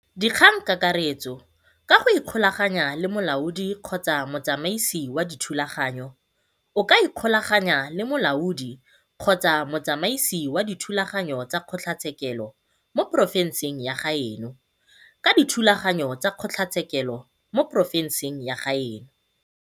DIKGANGKAKARETSO ka go ikgolaganya le Molaodi-Motsamaisi wa Dithulaganyo o ka ikgolaganya le Molaodi-Motsamaisi wa Dithulaganyo tsa Kgotlatshekelo mo porofenseng ya gaeno ka dithulaganyo tsa Kgotlatshekelo mo porofenseng ya gaeno